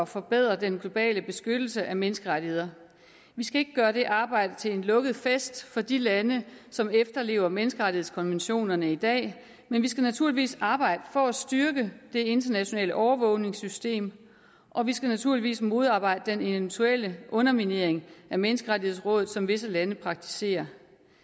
forbedre den globale beskyttelse af menneskerettigheder vi skal ikke gøre det arbejde til en lukket fest for de lande som efterlever menneskerettighedskonventionerne i dag men vi skal naturligvis arbejde for at styrke det internationale overvågningssystem og vi skal naturligvis modarbejde den eventuelle underminering af menneskerettighedsrådet som visse lande praktiserer